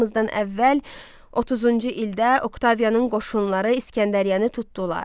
Eramızdan əvvəl 30-cu ildə Oktavianın qoşunları İsgəndəriyyəni tutdular.